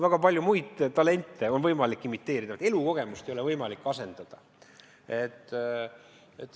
Väga paljusid muid talente on võimalik imiteerida, aga elukogemust ei ole võimalik asendada.